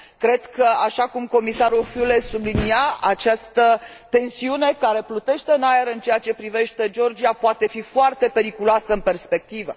Cred că, așa cum Comisarul Füle sublinia, această tensiune care plutește în aer în ceea ce privește Georgia poate fi foarte periculoasă în perspectivă.